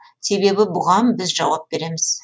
себебі бұған біз жауап береміз